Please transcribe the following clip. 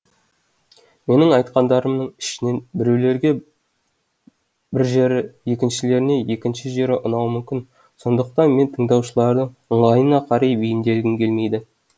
менің айтқандарымның ішінен біреулерге бір жері екіншілеріне екінші жері ұнауы мүмкін сондықтан мен тыңдаушылардың ыңғайына қарай бейімделгім келмейді